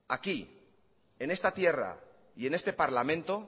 aquí en esta tierra y en este parlamento